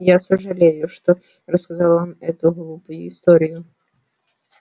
я сожалею что рассказал вам эту глупую историю